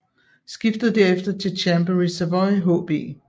Skiftede derefter til Chambéry Savoie HB